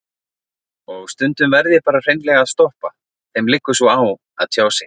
Og stundum verð ég bara hreinlega að stoppa, þeim liggur svo á að tjá sig.